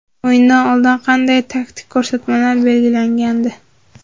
O‘yindan oldin qanday taktik ko‘rsatmalar berilgandi?